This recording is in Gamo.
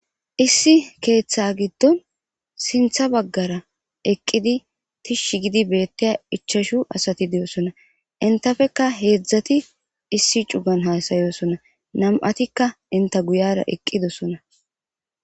issi keththa giddon sintha baggara eqqidi tishshi gidi beteya ichashu asati de'osona , intapeka hedzdzati issi cugan hasayosona, nam'atikka inta guyara eqidosona.